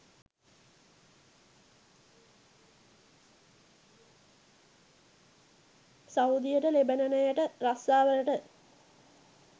සෞදියට ලෙබනනයට රස්සාවලට